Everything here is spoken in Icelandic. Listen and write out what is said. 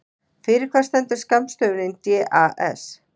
Fyrir hvað stendur skammstöfunin DAS?